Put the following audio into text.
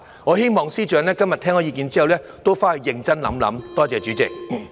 我希望司長今天聽到意見後會回去認真考慮。